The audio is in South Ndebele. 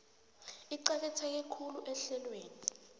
eqakatheke khulu ehlelweni